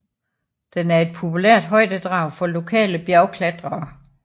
Den er et populært højdedrag for lokale bjergklatrere